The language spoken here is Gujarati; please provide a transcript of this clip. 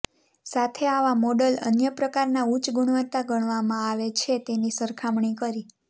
સાથે આવા મોડલ અન્ય પ્રકારના ઉચ્ચ ગુણવત્તા ગણવામાં આવે છે તેની સરખામણી કરી